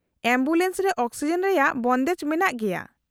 -Ambulance ᱨᱮ oxygen ᱨᱮᱭᱟᱜ ᱵᱚᱱᱫᱮᱡ ᱢᱮᱱᱟᱜ ᱜᱮᱭᱟ ᱾